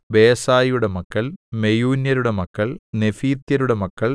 ബേസായിയുടെ മക്കൾ മെയൂന്യരുടെ മക്കൾ നെഫീത്യരുടെ മക്കൾ